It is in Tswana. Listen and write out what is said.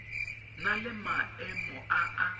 na le maemo a a